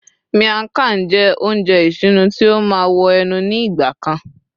miang Khan jé ounjẹ isinu tí o ma wo ẹnu ni igba kan